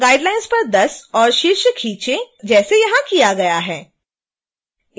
guidelines पर 10 और शीर्ष खींचें जैसे यहाँ किया गया है